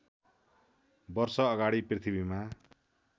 वर्ष अगाडि पृथ्वीमा